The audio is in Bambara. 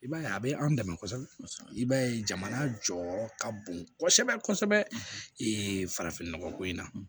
I b'a ye a bɛ an dɛmɛ kosɛbɛ i b'a ye jamana jɔyɔrɔ ka bon kosɛbɛ kosɛbɛ ko in na